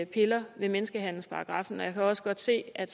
piller ved menneskehandelsparagraffen og jeg kan også godt se at